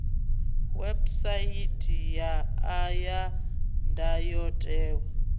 website ya a ya ndayotewa